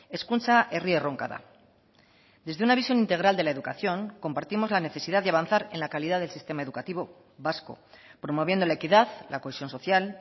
hezkuntza herri erronka da desde una visión integral de la educación compartimos la necesidad de avanzar en la calidad del sistema educativo vasco promoviendo la equidad la cohesión social